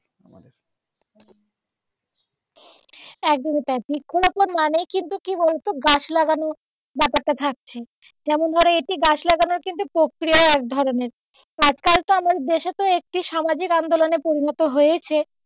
একদমই তাই বৃক্ষরোপণ মানেই কিন্তু কি বলবো গাছ লাগানো ব্যাপারটা থাকছে যেমন ধরো এটি গাছ লাগানোর একটি প্রক্রিয়া এক ধরনের আজকাল তো আমাদের দেশে একটি সামাজিক আন্দোলনে পরিনত হয়েছে,